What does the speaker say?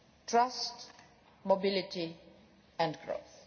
trust, mobility and growth.